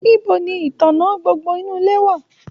Nibo ní ìtàná gbogbo inú ilé wà?